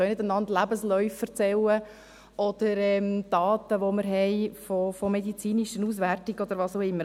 wir können einander nicht Lebensläufe erzählen oder Daten, die wir aus medizinischen Auswertungen haben, oder was auch immer.